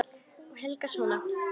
Út af Helga og svona.